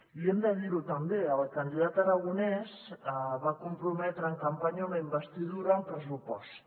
i hem de dir·ho també el candidat aragonès va prometre en campanya una in·vestidura amb pressupost